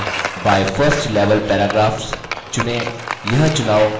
group text field में by 1st level paragraphs चुनें